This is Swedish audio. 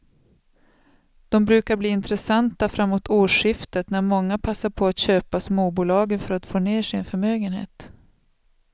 De brukar bli intressanta framåt årsskiftet när många passar på att köpa småbolagen för att få ner sin förmögenhet.